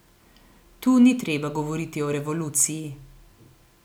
Tu ni treba govoriti o revoluciji.